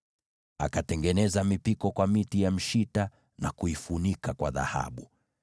Akatengeneza mipiko kwa miti ya mshita na kuifunika kwa dhahabu.